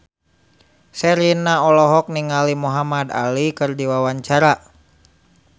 Sherina olohok ningali Muhamad Ali keur diwawancara